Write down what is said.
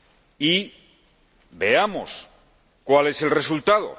Y veamos cuál es el resultado.